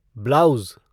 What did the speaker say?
blouse